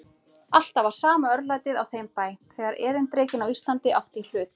Alltaf var sama örlætið á þeim bæ, þegar erindrekinn á Íslandi átti í hlut.